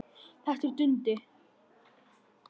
Þetta er Dundi!